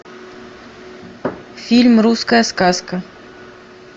фильм русская сказка